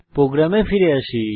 প্রোগ্রামে ফিরে আসি